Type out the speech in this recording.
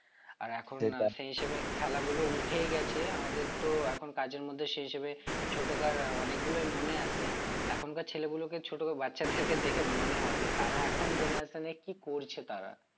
আর এখন সেই হিসেবে খেলা গুলো উঠেই গেছে আমাদের তো এখন কাজের মধ্যে সেই হিসেবে ছোট কার অনেকগুলোই মনে আসে এখনকার ছেলেগুলোকে ছোট বাচ্চাদেরকে দেখে মনে হয় যে তারা এখন generation এ কি করছে তারা